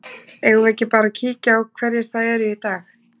Eigum við ekki bara að kíkja á hverjir það eru í dag?